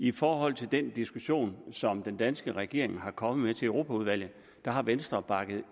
i forhold til den diskussion som den danske regering er kommet med til europaudvalget der har venstre bakket